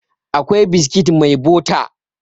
akwai biskit mai bota